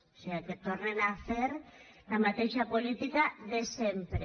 o siga que tornen a fer la mateixa política de sempre